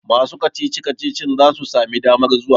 masu kacici-kacicin za su sami damar zuwa?